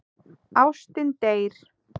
Ástin deyr.